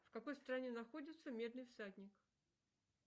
в какой стране находится медный всадник